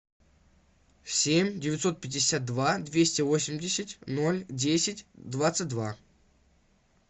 семь девятьсот пятьдесят два двести восемьдесят ноль десять двадцать два